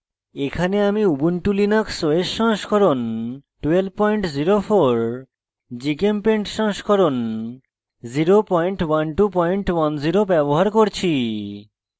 এখানে আমি ubuntu linux os সংস্করণ 1204 gchempaint সংস্করণ 01210 ব্যবহার করছি